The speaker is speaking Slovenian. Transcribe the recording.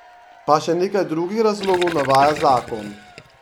Pa še nekaj drugih razlogov navaja zakon.